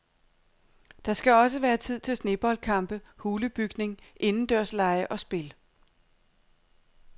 Der skal også være tid til sneboldkampe, hulebygning, indendørslege og spil.